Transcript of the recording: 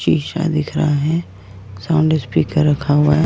शीशा दिख रहा है साउंड स्पीकर रखा हुआ है।